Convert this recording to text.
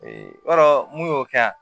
yɔrɔ mun y'o kɛ yan